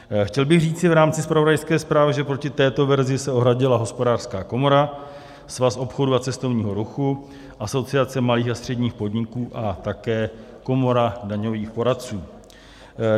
Chtěl bych říci v rámci zpravodajské zprávy, že proti této verzi se ohradila Hospodářská komora, Svaz obchodu a cestovního ruchu, Asociace malých a středních podniků a také Komora daňových poradců.